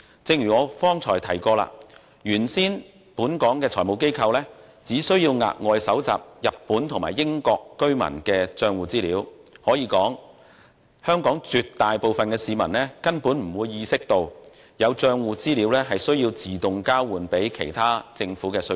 正如我剛才提及，本港的財務機構原先只須額外收集日本和英國居民的帳戶資料；可以說，香港絕大部分市民，根本沒有意識到有帳戶資料會自動交予其他政府的稅局。